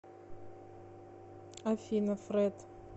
афина фред